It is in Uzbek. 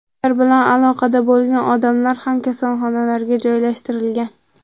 Ular bilan aloqada bo‘lgan odamlar ham kasalxonalarga joylashtirilgan.